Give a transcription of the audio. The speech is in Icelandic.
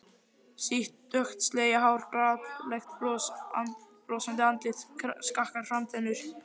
Sítt dökkt slegið hár, glaðlegt brosandi andlit, skakkar framtennur.